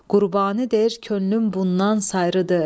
Qurbani deyir könlüm bundan sayrıdır.